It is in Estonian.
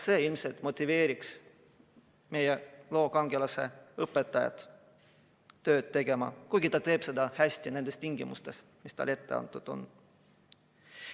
See ilmselt motiveeriks meie loo kangelase õpetajat veel paremini tööd tegema, kuigi ta teeb seda niigi hästi nendes tingimustes, mis talle ette antud on.